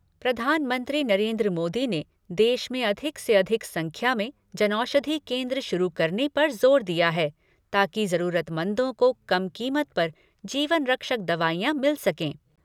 प्रधानमंत्री नरेन्द्र मोदी ने देश में अधिक से अधिक संख्या में जनऔषधी केन्द्र शुरू करने पर जोर दिया है, ताकि जरूरतमंदों को कम कीमत पर जीवन रक्षक दवाइयाँ मिल सकें।